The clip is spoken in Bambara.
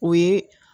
O ye